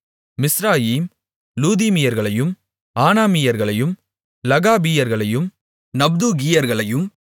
மிஸ்ராயிம் லூதீமியர்களையும் ஆனாமியர்களையும் லெகாபீயர்களையும் நப்தூகீயர்களையும்